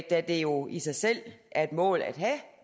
da det jo i sig selv er et mål at have